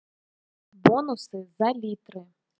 бонусы за литры